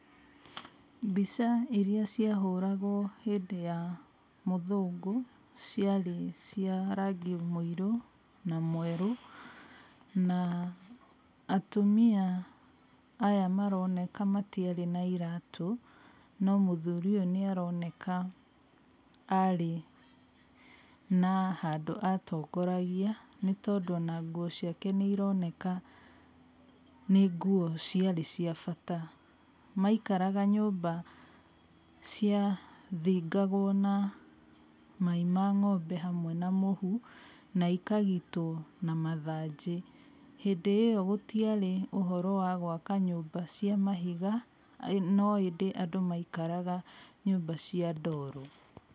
Mbica ĩrĩa ciahũragwo hĩndĩ ya mũthũngũ, ci arĩ cia rangi mũirũ na mwerũ na atumia aya maraoneka matiarĩ na iratũ, no mũthuri ũyũ nĩaroneka arĩ na handũ atongoragia nĩ tondũ ona nguo ciake nĩironeka nĩ nguo ci arĩ cia bata. Maikaraga nyũmba cia thingagwo na mai ma ng'ombe hamwe na mũhu na ikagitwo na mathanjĩ, hĩndĩ ĩyo gũtiarĩ ũhoro wa gwaka nyũmba cia mahiga, no ĩndĩ andũ maikaraga cia ndoro.